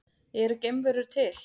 Eru geimverur til?